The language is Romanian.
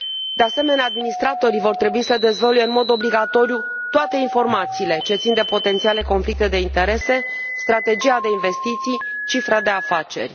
De asemenea, administratorii vor trebui să dezvăluie în mod obligatoriu toate informațiile ce țin de potențiale conflicte de interese, strategia de investiții, cifra de afaceri.